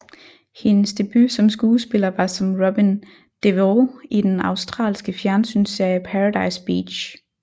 Hendes debut som skuespiller var som Robyn Devereaux i den australske fjernsynsserie Paradise Beach